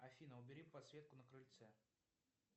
афина убери подсветку на крыльце